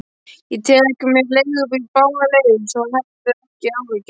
Ég tek mér leigubíl báðar leiðir, svo hafðu ekki áhyggjur.